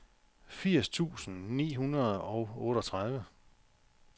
firs tusind ni hundrede og otteogtredive